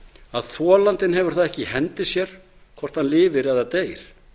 að þolandinn hefur það ekki í hendi sér hvort hann lifir eða deyr